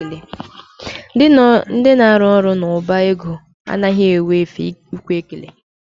Ndị na-arụ n'ụlọ ọba ego anaghị enwe efe ikwe ekele.